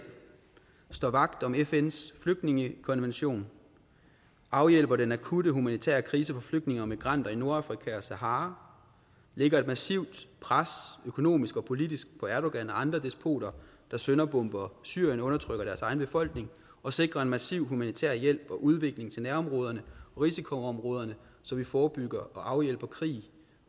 står vagt om fns flygtningekonvention afhjælper den akutte humanitære krise for flygtninge og migranter i nordafrika og sahara lægger et massivt økonomisk og politisk på erdogan og andre despoter der sønderbomber syrien og undertrykker deres egne befolkninger og sikrer en massiv humanitær hjælp og udvikling til nærområderne og risikoområder så vi forebygger og afhjælper krig